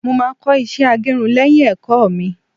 mo ma ko iṣẹ agerun léyìn ẹkọ mi